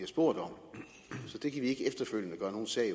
spurgt om så det kan vi ikke efterfølgende gøre nogen sag